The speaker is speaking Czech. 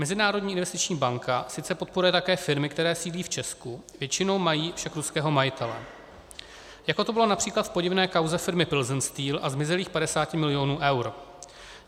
Mezinárodní investiční banka sice podporuje také firmy, které sídlí v Česku, většinou mají však ruského majitele, jako to bylo například v podivné kauze firmy Pilsen Steel a zmizelých 50 milionů eur.